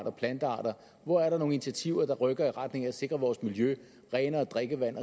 og plantearter hvor er der nogle initiativer der rykker i retning af at sikre vores miljø renere drikkevand